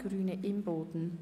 Grüne/Imboden.